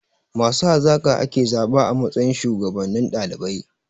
Masu hazaka ake zaɓa a matsayin shuwagabannin ɗalibai.